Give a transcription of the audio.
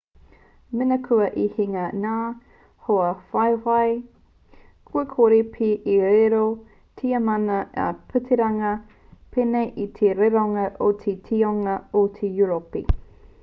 mena kua i hinga ngā hoawhawhai kua kore pea e riro i a tiamana a piritania pēnei i te rironga o te toinga o europi